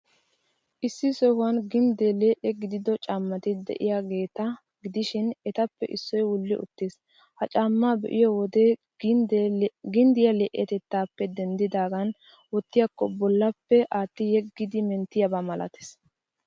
Issi sohuwan ginddee lee'e gidido caamati de'iyaageeta gidishin, etappe issoy wuli uttiis. Ha caammaa be'iyo wode ginddiyaa lee'etettaappe denddidaagan wottiyakko bollappe aatti-yeggidi menttiyaaba malatees.